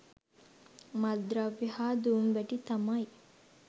මත්ද්‍රව්‍ය හා දුම්වැටි තමයි.